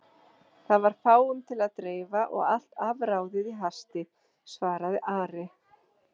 Það var fáum til að dreifa og allt afráðið í hasti, svaraði Ari.